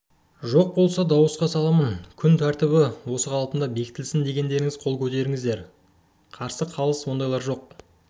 жоқ болса дауысқа саламын күн тәртібі осы қалпында бекітілсін дегендеріңіз қол көтеріңіздер қарсы қалыс ондайлар жоқ